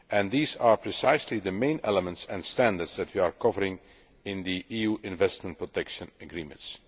These are precisely the main elements and standards that we are covering in the EU investment protection agreements.